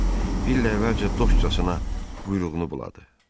Bill əvvəlcə dostcasına quyruğunu buladı.